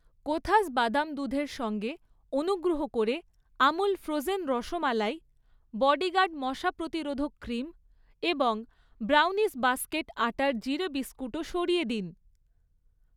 কোথাস বাদাম দুধের সঙ্গে অনুগ্রহ করে আমূল ফ্রোজেন রসমালাই, বডিগার্ড মশা প্রতিরোধক ক্রিম এবং ব্রাউনিস বাস্কেট আটার জিরে বিস্কুটও সরিয়ে দিন।